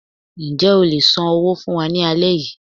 Njẹ́ o lè ṣọ òwe fún wa ní alẹ́ yìí